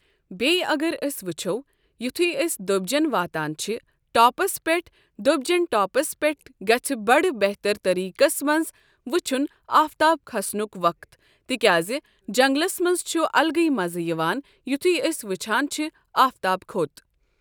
بییٚہِ اگر أسۍ وٕچھو یُتھے أسۍ دوبۍجٮ۪ن واتان چھِ ٹاپس پٮ۪ٹھ دوبۍ جٮ۪ن ٹاپس پٮ۪ٹھ گژھ بڑٕ بہتر طٔریقَس منٛز وٕچھُن آفتاب کھسنُک وقت تِکیاز جنگلس منٛز چھُ الگے مزٕ یِوان یتھی أسۍ وٕچھان چھ آفتاب کھوٚت۔